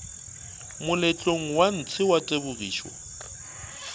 moletlong wa ntshe wa tebogišo